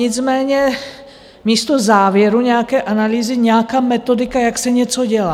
Nicméně místo závěru nějaké analýzy nějaká metodika, jak se něco dělá.